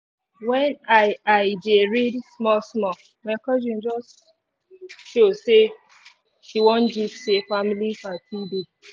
when i i dey read small small my cousin just show say she wan gist say family party dey